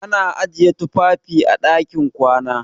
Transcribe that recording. Ana ajiye tufafi a ɗakin kwana.